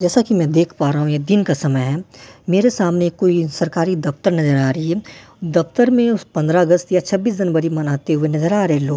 जैसा कि मैं देख पा रहा हूँ ये दिन का समय है मेरे सामने कोई सरकारी दफ्तर नजर आ रही है दफ्तर में उस पंद्रह अगस्त या छब्बीस जनवरी मनाते हुए नजर आ रहे हैं लोग--